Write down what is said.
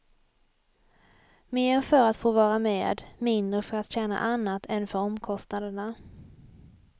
Mer för att få vara med, mindre för att tjäna annat än för omkostnaderna.